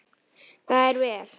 Það er vel.